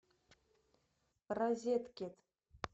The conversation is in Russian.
розеткед